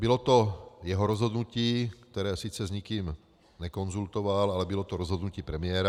Bylo to jeho rozhodnutí, které sice s nikým nekonzultoval, ale bylo to rozhodnutí premiéra.